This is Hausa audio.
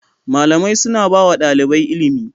Malamai suna ba wa ɗalibai ilimi.